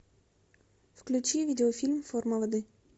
включи видеофильм форма воды